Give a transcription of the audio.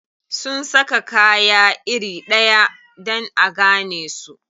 Sun saka kaya iri ɗaya dan a gane su.